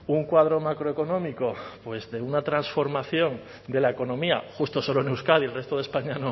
un cuadro macroeconómico pues de una transformación de la economía justo solo en euskadi el resto de españa